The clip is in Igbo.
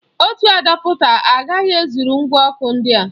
Ọ otu adapta agaghị ezụrụ ngwa ọkụ ndị a?